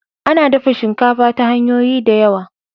A na dafa shinkafa ta hanyoyi da yawa